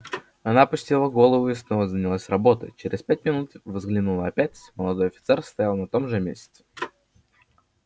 она опустила голову и снова занялась работой через пять минут взглянула опять молодой офицер стоял на том же месте